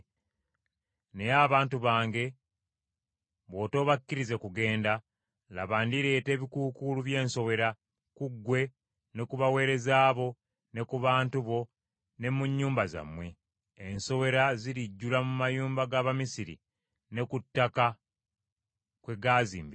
Naye abantu bange bw’otoobakkirize kugenda, laba, ndireeta ebikuukuulu by’ensowera, ku ggwe ne ku baweereza bo, ne ku bantu bo, ne mu nnyumba zammwe. Ensowera zirijjula mu mayumba ga Bamisiri ne ku ttaka kwe gaazimbibwa.